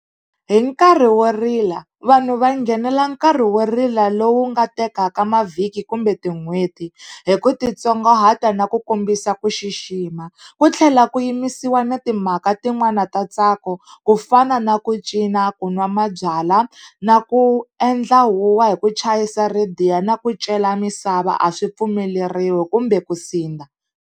Hi nkarhi wo rila vanhu va nghenela nkarhi wo rila lowu nga tekaka mavhiki kumbe tin'hweti, hi ku titsongahata na ku kombisa ku xixima. Ku tlhela ku yimisiwa na timhaka tin'wana ta ntsako, ku fana na ku cina, ku nwa mabyalwa na ku endla huwa hi ku chayisa rhadiyo na ku cela misava a swi pfumeleriwi kumbe ku sindza.